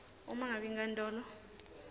uma ngabe inkantolo